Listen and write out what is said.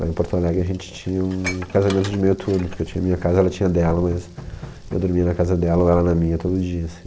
Lá em Porto Alegre a gente tinha um casamento de meio turno, porque eu tinha a minha casa, ela tinha a dela, mas eu dormia na casa dela ou ela na minha todo dia, assim.